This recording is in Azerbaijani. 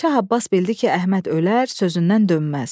Şah Abbas bildi ki, Əhməd ölər, sözündən dönməz.